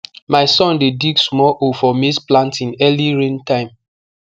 my son dey dig small hole for maize planting early rain time